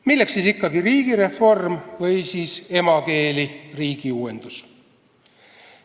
Milleks siis ikkagi riigireform või emakeeli riigiuuendus?